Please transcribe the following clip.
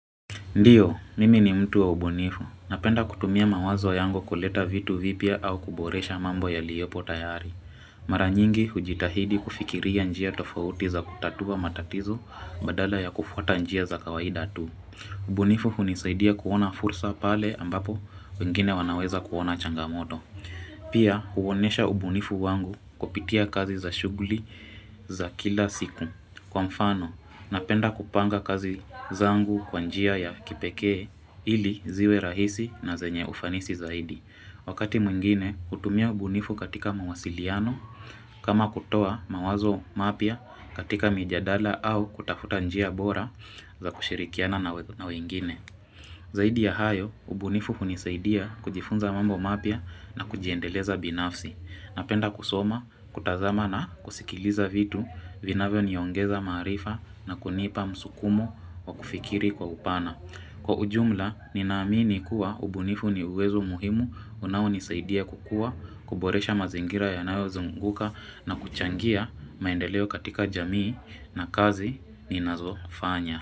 Ndiyo, nimi ni mtu wa ubunifu. Napenda kutumia mawazo yangu kuleta vitu vipya au kuboresha mambo yaliyopo tayari. Mara nyingi hujitahidi kufikiria njia tofauti za kutatua matatizo, badala ya kufuata njia za kawaida tu. Ubunifu hunisaidia kuona fursa pale ambapo wengine wanaweza kuona changamoto. Pia huonesha ubunifu wangu kupitia kazi za shughuli za kila siku. Kwa mfano, napenda kupanga kazi zangu kwanjia ya kipekee ili ziwe rahisi na zenye ufanisi zaidi. Wakati mwingine, hutumia ubunifu katika mawasiliano, kama kutoa mawazo mapya katika mijadala au kutafuta njia bora za kushirikiana na wengine. Zaidi ya hayo, ubunifu hunisaidia kujifunza mambo mapya na kujiendeleza binafsi. Napenda kusoma, kutazama na kusikiliza vitu vinavyo niongeza maarifa na kunipa msukumo wa kufikiri kwa upana. Kwa ujumla, ninaamini kuwa ubunifu ni uwezo muhimu unao nisaidia kukua, kuboresha mazingira ya nayo zunguka na kuchangia maendeleo katika jamii na kazi ni nazofanya.